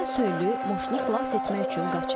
Yenə söyülü moşunu xilas etmək üçün qaçır.